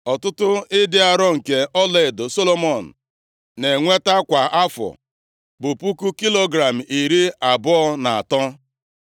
Ọtụtụ ịdị arọ nke ọlaedo Solomọn na-enweta kwa afọ bụ puku kilogram iri abụọ na atọ, + 9:13 Narị talenti isii na talenti iri isii na isii